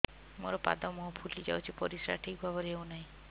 ମୋର ପାଦ ମୁହଁ ଫୁଲି ଯାଉଛି ପରିସ୍ରା ଠିକ୍ ଭାବରେ ହେଉନାହିଁ